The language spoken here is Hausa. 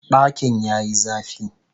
Dakin ya yi zafi